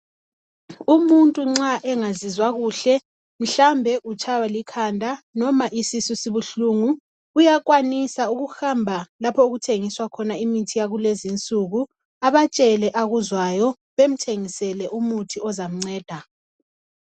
Umuntu nxa engasizwa kuhle nhlambe utshwaywa likhanda noma isisu sibuhlungu uyakwanisa ukuhamba lapho okutshengiswa khona imithi yakulezinsuku abatshele akuzwayo bemtshengisele umuntu ozamnceda